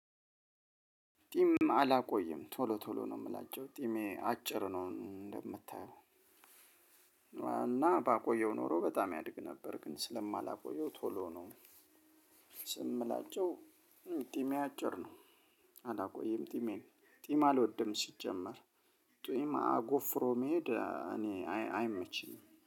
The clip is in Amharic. ጢም አላቆይም ቶሎ ቶሎ ነው ምላቸው ጢሜ አጭር ነው እንደምታየው እና ባቆየው ኖሮ በጣም ያድግ ነበር ግን ስለማላቆየው ቶሎ ነው። ስም ምላቸው። ጢሜ አጭር ነው። አላቆይም ጢሜን ጢም አልወድም ሲጀመር ጢም አጎፍሮ መሄድ እኔ አይመችኝም